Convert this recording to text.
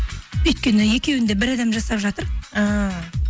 өйткені екеуін де бір адам жасап жатыр ааа